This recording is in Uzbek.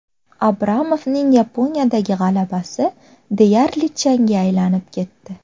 Abramovning Yaponiyadagi g‘alabasi deyarli changga aylanib ketdi.